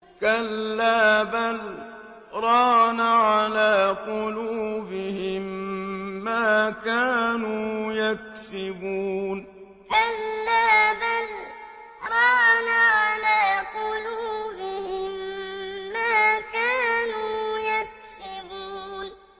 كَلَّا ۖ بَلْ ۜ رَانَ عَلَىٰ قُلُوبِهِم مَّا كَانُوا يَكْسِبُونَ كَلَّا ۖ بَلْ ۜ رَانَ عَلَىٰ قُلُوبِهِم مَّا كَانُوا يَكْسِبُونَ